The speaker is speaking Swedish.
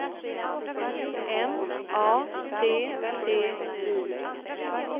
M A T T I